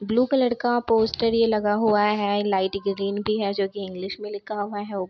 blue colour का poster ये लगा हुआ है लाइट ग्रीन भी है जो की इंग्लिश में लिखा हुआ है ऊप --